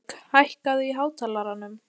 Friðbjörg, hækkaðu í hátalaranum.